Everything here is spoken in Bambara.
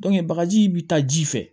bagaji bi taa ji fɛ